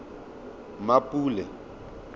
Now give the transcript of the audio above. mmapule